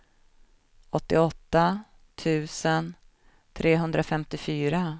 åttioåtta tusen trehundrafemtiofyra